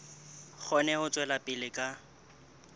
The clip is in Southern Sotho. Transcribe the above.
kgone ho tswela pele ka